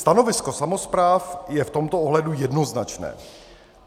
Stanovisko samospráv je v tomto ohledu jednoznačné.